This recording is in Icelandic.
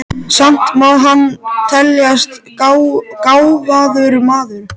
Samt má hann teljast gáfaður maður.